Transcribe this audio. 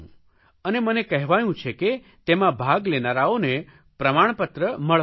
અને મને કહેવાયું છે કે તેમાં ભાગ લેનારાઓને પ્રમાણપત્ર મળવાનું છે